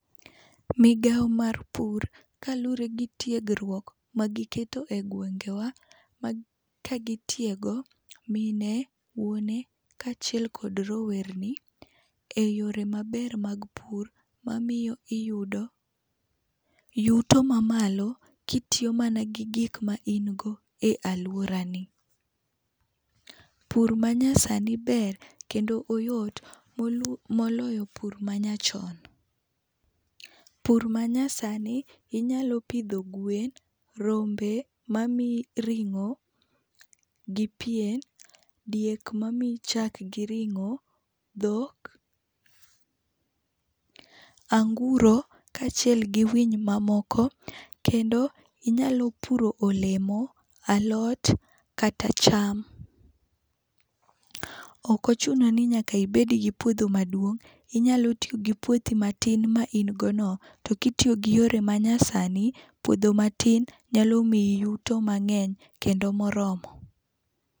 Migawo mar pur kaluwre gi tiegruok magiketo e gwengewa, um ka gitiego mine, wuone, kaachiel kod rowerni eyore maber mag pur mamiyo iyudo yuto mamalo kitiyo mana gi gik ma in go e aluorani. Pur manyasani ber kendo oyot molu moloyo pur manyachon. Pur manyasani, inyalo pidho gwen, rombe mamiyi ring'o gi pien, diek mamiyi chak gi ring'o, dhok, anguro kaachiel gi winy mamoko. Kendo inyalo puro olemo, alot kata cham. Ok ochuno ni nyaka ibed gi puodho maduong', inyalo tiyo gi puothi matin ma in godono to kitiyo giyore manyasani, puodho matin nyalo miyi yuto mang'eny kendo moromo.